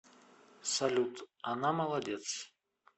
салют она молодец